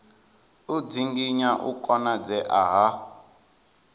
u dzinginya u konadzea ha